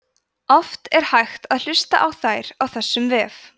oft er hægt að hlusta á þær á þessum vef